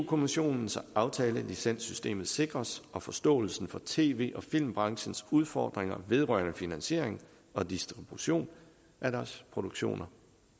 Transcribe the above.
kommissionen så aftalelicenssystemet sikres og forståelsen for tv og filmbranchens udfordringer vedrørende finansiering og distribution af deres produktioner